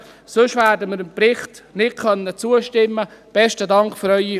Sonst werden wir dem Bericht nicht zustimmen können.